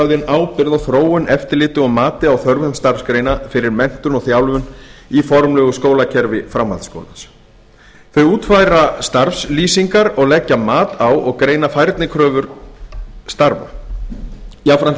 starfsgreinaráðin ábyrgð á þróun eftirliti og mati á þörfum starfsgreina fyrir menntun og þjálfun í formlegu skólakerfi framhaldsskólans þau útfæra starfslýsingar og leggja mat á og greina færnikröfur starfa jafnframt lýsa